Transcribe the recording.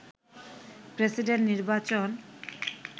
president নির্বাচন